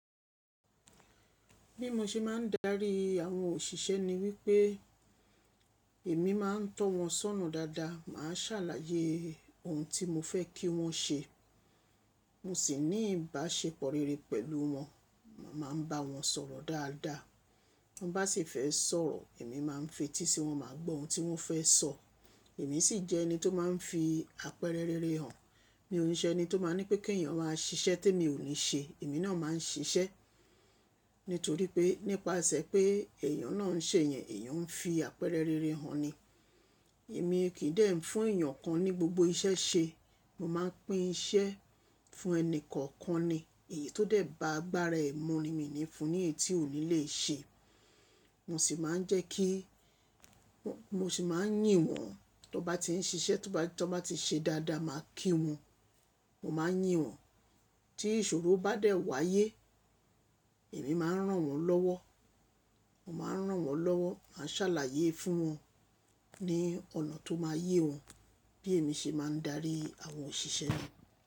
Bí mo ṣe máa ń darí àwọn òṣìṣẹ́ ni wípé èmi máa ń tọ́ wọn sọ́nà dáadáa, màá ṣàlàyé òhun tí mo fẹ́ kí wọn ṣe. Mo sì ní ìbáṣepọ̀ rere pẹ̀lú wọn. Màá ń bá wọn sọ̀rọ̀ dáadáa. Ti wọn bá sì fẹ́ sọ̀rọ̀, èmi máa ń fetí sí wọn máa gbọ́ ohun tí wọ́n fẹ́ sọ. Èmi sì jẹ́ ẹni tó máa ń fi àpẹrẹ rere hàn. Mi ò ní jẹ́ ẹni tó máa ń ní pé kí ẹ̀yàn máa ṣiṣẹ́ tí èmi ò ní ṣe. Èmi náà máa ń ṣiṣẹ́ nítorí pé nípasẹ̀ pé èyàn náà ń ṣe yẹn, èyàn ń fi àpẹẹrẹ rere hàn ni. Èmi kì í dẹ́ fún èèyàn kan ní gbogbo iṣẹ́ ṣe. Mo máa ń pín iṣẹ́ fún ẹni kọ̀ọ̀kan ni. Èyí tó dẹ̀ ba agbára ẹ mu ni mi ní fún un ní èyí tí ò ní lè ṣe. Mo sì máa ń jẹ́ kí Mo sì máa ń yìn wọ́n. Tí wọ́n bá ti ń ṣiṣẹ́, tí wọ́n bá ti ṣe dáadáa, màá kí wọn, mo máa ń yìn wọn. Tí ìṣòro bá dẹ̀ wáyé, èmi máa ń rán wọn lọ́wọ́. Mo máa ń rán wọn lọ́wọ́, màá ń ṣàlàyé fún wọn ní ọ̀nà tó máa yé wọn. Bí èmi ṣe máa ń darí àwọn òṣìṣẹ́ ni.